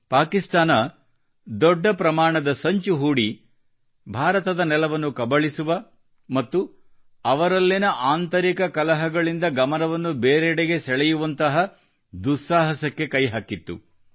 ಪಾಕಿಸ್ತಾನ ದೊಡ್ಡ ಪ್ರಮಾಣದ ಸಂಚು ಹೂಡಿ ಭಾರತದ ನೆಲವನ್ನು ಕಬಳಿಸುವ ಮತ್ತು ಅವರಲ್ಲಿನ ಆಂತರಿಕ ಕಲಹಗಳಿಂದ ನಮ್ಮ ಗಮನವನ್ನು ಬೇರೆಡೆಗೆ ಸೆಳೆಯುವಂತಹ ದುಸ್ಸಾಹಸಕ್ಕೆ ಕೈಹಾಕಿತ್ತು